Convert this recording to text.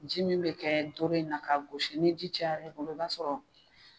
Ji min be kɛ doro in na ka gosi, ni ji cayala a bolo i b'a sɔrɔ